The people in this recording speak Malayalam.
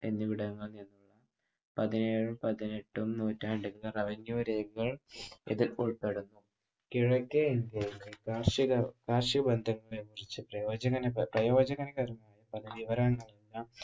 എന്നിവിടങ്ങളിൽ നിന്നും പതിനേഴും പതിനെട്ടും നൂറ്റാണ്ടിലെ revenue രേഖകൾ ഇതിൽ ഉൾപ്പെടുന്നു. കിഴക്കേ കാർഷിക